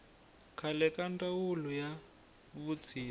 khale ka ndzawulo ya vutshila